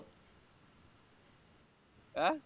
আহ